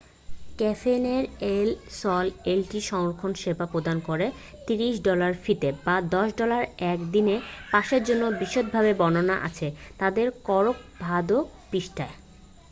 ক্যাফেনেট এল সল একটি সংরক্ষণ সেবা প্রদান করে 30 ডলার ফিতে বা 10 ডলার 1-দিনের পাসের জন্য বিশদভাবে বর্ননা আছে তাদের করকভাদো পৃষ্ঠায়